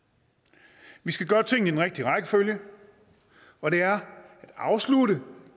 vi vi skal gøre tingene rigtige rækkefølge og det er at afslutte